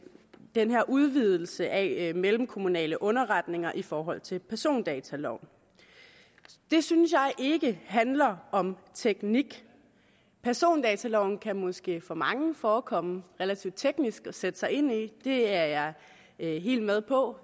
den her udvidelse af mellemkommunale underretninger i forhold til persondataloven det synes jeg ikke handler om teknik persondataloven kan måske for mange forekomme relativt teknisk at sætte sig ind i det er jeg helt med på